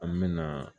An me na